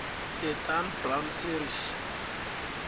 the dan brown series